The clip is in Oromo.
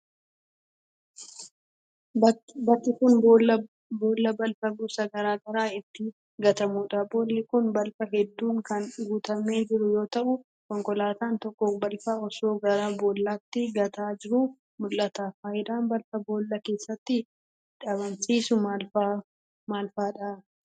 Bakki kun, boolla balfa gosa garaa garaa itti gatamuu dha. Boolli kun, balfa hedduun kan guutamee jiru yoo ta'u, konkolaataan tokko balfa osoo gara boollaatti gataa jiruu mul'ata. Faayidaan balfa boolla keessatti dhabamsiisuu maal faa dha?